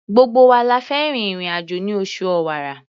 Gbogbo wa la fẹ́ rin ìrìn-àjò ní oṣù Ọ̀wàrà.